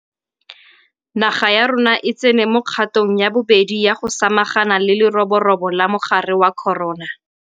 Naga ya rona e tsene mo kgatong ya bobedi ya go sa magana le leroborobo la mogare wa corona.